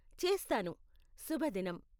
చేస్తాను. శుభదినం.